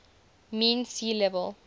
mean sea level